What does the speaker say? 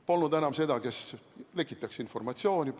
Polnud enam seda, kes lekitaks informatsiooni.